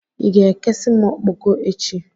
I ga-ekesi m okpokpo echi?